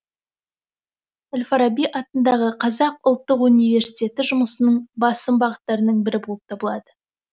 әл фараби атындағы қазақ ұлттық университеті жұмысының басым бағыттарының бірі болып табылады